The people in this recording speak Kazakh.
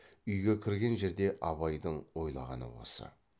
үйге кірген жерде абайдың ойлағаны осы